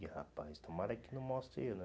Ih, rapaz, tomara que não mostre eu, né?